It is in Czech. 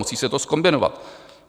Musí se to zkombinovat.